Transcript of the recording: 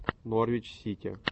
норвич сити